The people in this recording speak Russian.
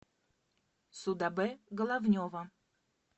судабе головнева